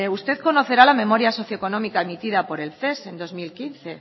usted conocerá la memoria socioeconómica emitida por el ces en dos mil quince